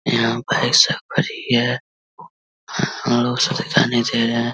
यहाँ पर सब फ्री है। रहे हैं।